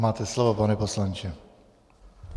Máte slovo, pane poslanče.